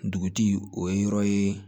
Dugutigi o ye yɔrɔ ye